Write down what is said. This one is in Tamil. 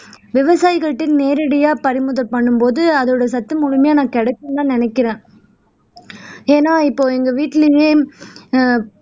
விவசாயிகள்ட்டயும் நேரடியா பறிமுதல் பண்ணும் போது அதோட சத்து முழுமையா நான் கிடைக்கும்ன்னுதான் நினைக்கிறேன் ஏன்னா இப்போ எங்க வீட்டிலேயே ஆஹ்